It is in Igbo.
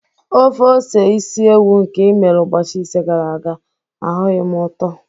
Ofe ose isi ewu nke i mere ụbọchị ise gara aga, ahụghị m ụtọ